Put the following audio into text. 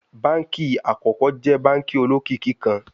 Banki akọkọ jẹ banki olokiki kan